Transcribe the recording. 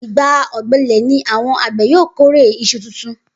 Igbà ò̩gbe̩lè̩ ni àwo̩n àgbè̩ yóò kórè is̩u tuntun